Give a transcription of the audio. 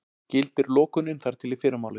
Gildir lokunin þar til í fyrramálið